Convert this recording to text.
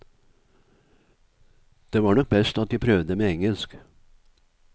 Det var nok best at jeg prøvde med engelsk.